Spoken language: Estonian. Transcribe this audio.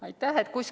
Aitäh!